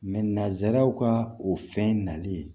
nazaraw ka o fɛn nali